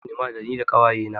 Zamu je sinima da ni da ƙawaye na.